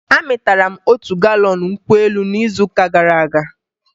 Amịtara m otu galọn nkwụ elu n'izuụka gara aga